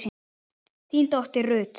þín dóttir Ruth.